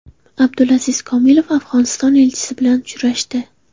Abdulaziz Komilov Afg‘oniston elchisi bilan uchrashdi.